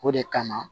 O de kama